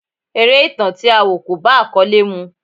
Eré ìtàn tí a wọ̀ kò bá àkọ́lé mu.